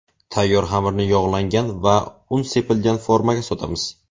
Tayyor xamirni yog‘langan va un sepilgan formaga solamiz.